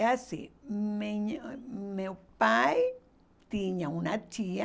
É assim, minha ãh meu pai tinha uma tia,